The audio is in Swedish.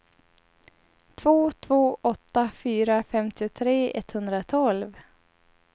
två två åtta fyra femtiotre etthundratolv